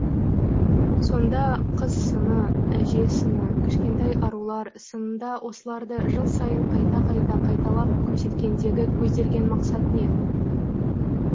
сонда қыз сыны әже сыны кішкентай арулар сынында осыларды жыл сайын қайта қайта қайталап көрсеткендегі көзделген мақсат не